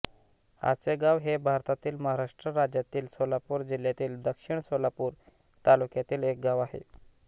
आचेगाव हे भारतातील महाराष्ट्र राज्यातील सोलापूर जिल्ह्यातील दक्षिण सोलापूर तालुक्यातील एक गाव आहे